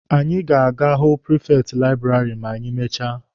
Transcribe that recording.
Anyị ga-aga ịhụ prifekti laịbụrarị ma anyị mechaa